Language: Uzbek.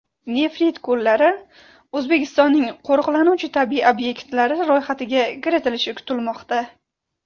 Nefrit ko‘llari O‘zbekistonning qo‘riqlanuvchi tabiiy obyektlari ro‘yxatiga kiritilishi kutilmoqda.